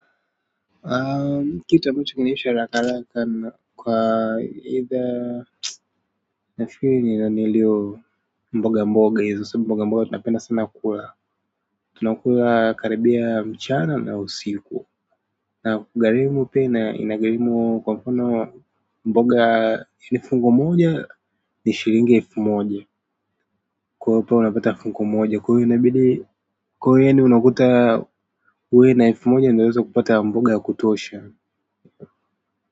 Kitu ambacho huisha haraka haraka kwa either nafiriki ni nilio mboga mboga hizo sio mboga mboga tunapenda sana kula tunakula karibia mchana na usiku na gharimu pia inagharimu kwa mfano mboga ni fungu moja ni shilingi elfu moja kwa hapa unapata fungu moja kwa hivo inabidi kuwa yaani unakuta ukiwa na elfu moja ndo unaweza kupata mboga kutuosha.